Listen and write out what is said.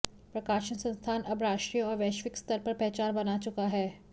प्रकाशन संस्थान अब राष्ट्रीय और वैश्विक स्तर पर पहचान बना चुका है